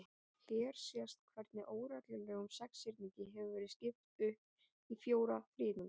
Hér sést hvernig óreglulegum sexhyrningi hefur verið skipt upp í fjóra þríhyrninga.